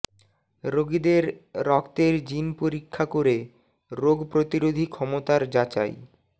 রোগীদের রক্তের জিন পরীক্ষা করে রোগ প্রতিরোধী ক্ষমতার যাচাই